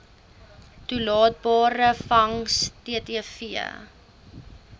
toelaatbare vangs ttv